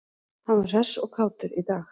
Hann var hress og kátur í dag.